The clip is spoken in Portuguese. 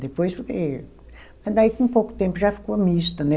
Depois foi... Mas daí com pouco tempo já ficou mista, né?